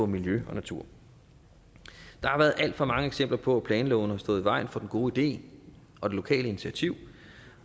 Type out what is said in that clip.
miljø og natur der har været alt for mange eksempler på at planlovene har stået i vejen for den gode idé og det lokale initiativ